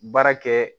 Baara kɛ